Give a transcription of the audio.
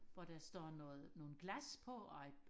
hvor der står noget nogle glas på og et